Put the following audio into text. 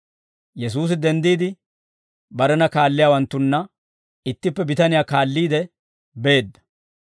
Yesuusi denddiide, barena kaalliyaawanttunna ittippe bitaniyaa kaalliide beedda.